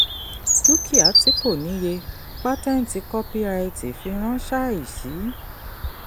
dúkìá tí kò ní iye: pátẹ́ǹtì kọ́píraìtì firán ṣáìsì.